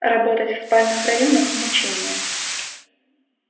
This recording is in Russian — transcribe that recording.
работать в спальных районах мучение